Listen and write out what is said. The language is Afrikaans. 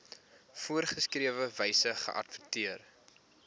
voorgeskrewe wyse geadverteer